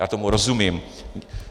Já tomu rozumím.